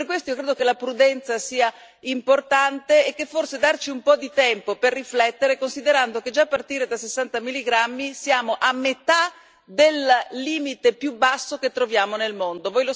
Per questo io credo che la prudenza sia importante e che forse sia giusto darci un po' di tempo per riflettere, considerando che già a partire da 60 milligrammi siamo a metà del limite più basso che troviamo nel mondo.